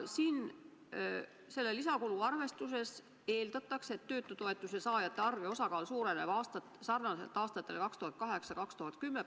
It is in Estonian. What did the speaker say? Selle lisakulu arvestuses eeldatakse, et töötutoetuse saajate arv ja osakaal suureneb sarnaselt nagu aastatel 2008–2010.